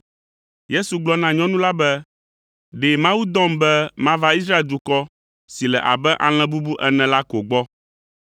Yesu gblɔ na nyɔnu la be, “Ɖe Mawu dɔm be mava Israel dukɔ si le abe alẽ bubu ene la ko gbɔ.”